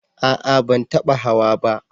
A'a ban taba hawa ba